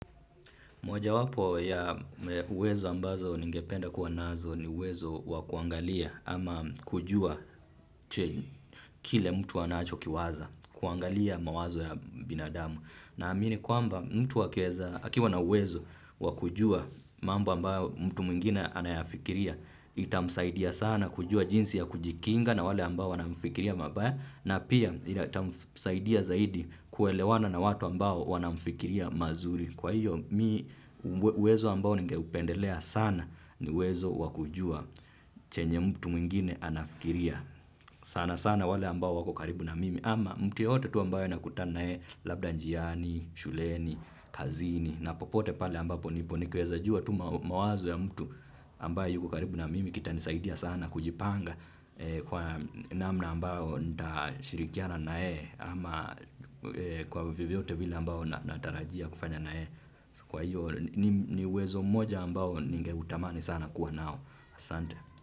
Moja wapo ya uwezo ambazo ningependa kuwa nazo ni uwezo wa kuangalia ama kujua, kile mtu wanachokiwaza, kuangalia mawazo ya binadamu. Ninaamini kwamba mtu akiwa na uwezo wa kujua mambo ambayo mtu mwingine anayafikiria itamsaidia sana kujua jinsi ya kujikinga na wale ambao wanamfikiria mabaya na pia itamsaidia zaidi kuelewana na watu ambao wanamfikiria mazuri. Kwa hiyo, mimi uwezo ambao ningeupendelea sana ni uwezo wakujua chenye mtu mwingine anafikiria. Sana sana wale ambao wakokaribu na mimi, ama mtu yeyote tu ambaye nakutanae labda njiani, shuleni, kazini na popote pale ambapo nipo, nikiweza jua tu mawazo ya mtu, ambaye yukokaribu na mimi kita nisaidia sana kujipanga kwa namna ambayo nita shirikiana nayeye ama kwa vyovyote vile ambavyo natarajia kufanya nayeye. Kwa hiyo niuwezo mmoja ambao ningeutamani sana kuwa nao. Asante.